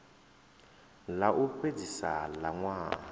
ḽa u fhedzisa ḽa ṅwaha